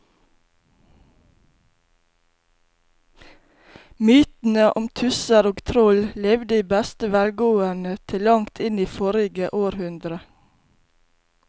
Mytene om tusser og troll levde i beste velgående til langt inn i forrige århundre.